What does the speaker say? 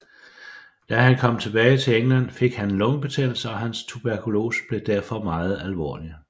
Da han kom tilbage til England fik han lungebetændelse og hans tuberkulose blev derfor meget alvorlig